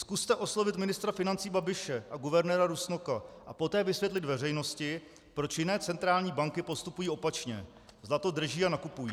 Zkuste oslovit ministra financí Babiše a guvernéra Rusnoka a poté vysvětlit veřejnosti, proč jiné centrální banky postupují opačně - zlato drží a nakupují.